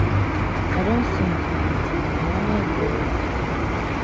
i don sin too much oooo i wonder if god go pity me.